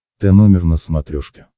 тномер на смотрешке